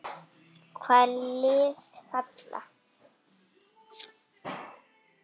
Hvaða lið falla?